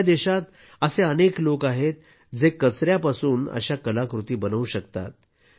आपल्या देशात असे अनेक लोक आहेत जे कचऱ्यापासून अशा कलाकृती बनवू शकतात